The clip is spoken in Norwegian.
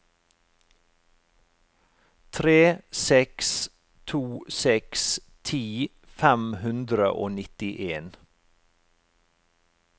tre seks to seks ti fem hundre og nittien